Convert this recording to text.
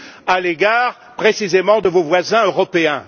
à l'égard, précisément, de vos voisins européens.